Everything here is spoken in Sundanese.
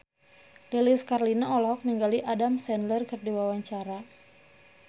Lilis Karlina olohok ningali Adam Sandler keur diwawancara